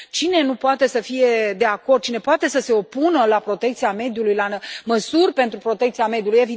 Cine nu poate să fie de acord, cine poate să se opună la protecția mediului, la măsuri pentru protecția mediului?